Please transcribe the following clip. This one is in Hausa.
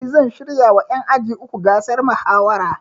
Ni zan shirya wa ƴan aji uku gasar mahawara